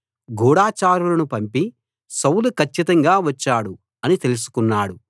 గూఢచారులను పంపి సౌలు కచ్చితంగా వచ్చాడు అని తెలుసుకున్నాడు